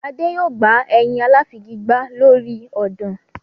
Adé yòó gba ẹyin aláfigigbá lórí ọ̀dàn.